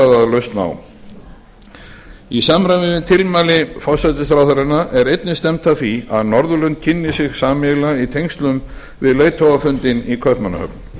að lausn á í samræmi við tilmæli forsætisráðherranna er einnig stefnt að því að norðurlönd kynni sig sameiginlega í tengslum við leiðtogafundinn í kaupmannahöfn